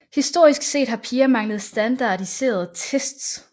Historisk set har piger manglet standardiserede tests